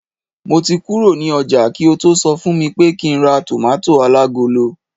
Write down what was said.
mo ti kuro ni oja ki o to so fun mi pé kín ra tomato alagolo